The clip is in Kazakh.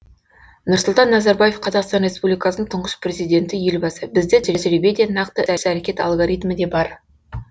нұрсұлтан назарбаев қазақстан республикасының тұңғыш президенті елбасы бізде тәжірибе де нақты іс әрекет алгоритмі де бар